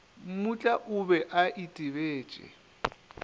mmutla o be a itebetše